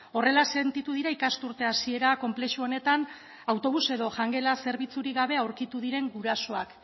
horrela sentitu dira ikasturte hasiera konplexu honetan autobus edo jangela zerbitzurik gabe aurkitu diren gurasoak